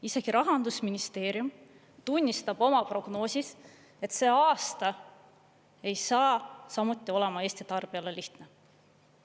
Isegi Rahandusministeerium tunnistab oma prognoosis, et see aasta ei saa samuti olema Eesti tarbijale lihtne.